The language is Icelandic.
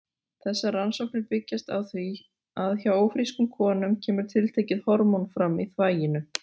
Þessar rannsóknir byggjast á því að hjá ófrískum konum kemur tiltekið hormón fram í þvaginu.